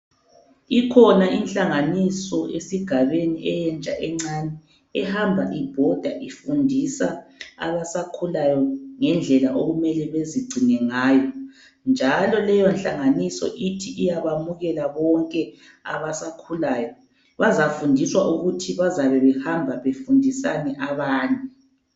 Ikhona inhlanganiso esigabeni entsha encani, ehamba ibhoda ifundisa abasakhulayo ngendlela okumele bezigcine ngayo. Njalo leyo nhlanganiso ithi iyabamukela bonke abasakhulayo. Bazafundiswa ukuthi bazabe behamba befundisani abanye.